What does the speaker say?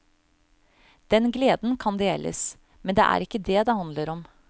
Den gleden kan deles, men det er ikke det det handler om.